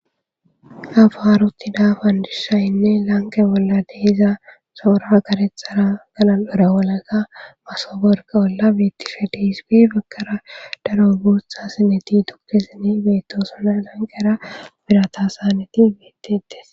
afahaaruttidabandishayinne laanke bolla dehiza soora agarethara kana dora walaga masaborka olla beettishedeiswi bakkara daro buutha sineti tuktisini beettosona lankera birata saaneti beettiittes